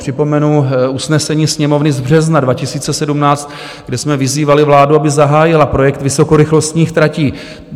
Připomenu usnesení Sněmovny z března 2017, kde jsme vyzývali vládu, aby zahájila projekt vysokorychlostních tratí.